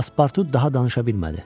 Paspartu daha danışa bilmədi.